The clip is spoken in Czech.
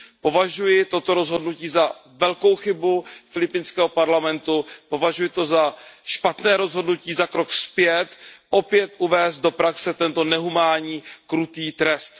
Považuji toto rozhodnutí za velkou chybu filipínského parlamentu, považuji to za špatné rozhodnutí, za krok zpět, opět uvést do praxe tento nehumánní, krutý trest.